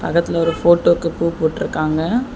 பக்கத்துல ஒரு ஃபோட்டோக்கு பூ போட்ருக்காங்க.